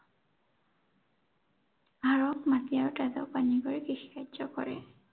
হাড়ক মাটি আৰু তেজক পানী কৰি কৃষি কাৰ্য কৰে।